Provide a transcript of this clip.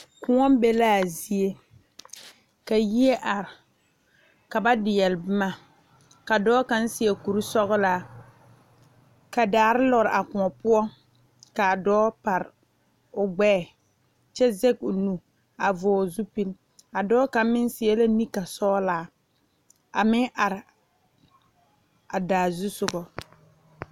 Kõɔ be la a zie ka yie are ka ba deɛgle boma ka dɔɔ kaŋa seɛ kuri sɔglaa ka daare lɔre a kõɔ poɔ kaa dɔɔ pare o gbɛɛ kyɛ zage o nu a vɔgle zupele a dɔɔ kaŋa meŋ seɛ la nenka sɔglaa a meŋ are a daa zusoga.